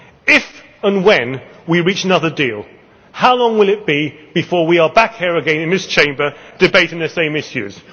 on. If and when we reach another deal, how long will it be before we are back here again in this Chamber debating the same issues?